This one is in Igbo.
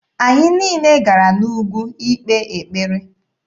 Anyị niile gara n'ugwu ikpe ekpere.